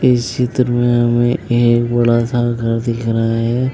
इस चित्र में हमे एक बड़ा सा घर दिख रहा है।